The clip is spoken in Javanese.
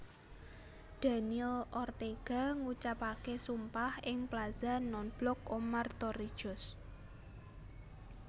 Daniel Ortega ngucapaké sumpah ing Plaza Nonblok Omar Torrijos